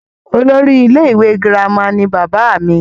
olórí ilé ìwé girama ni bàbá mi